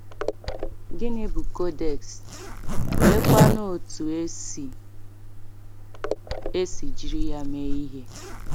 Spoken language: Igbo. Gịnị bụ codex, oleekwa otú e si e si jiri ya mee ihe?